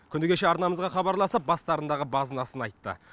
күні кеше арнамызға хабарласып бастарындағы базынасын айтты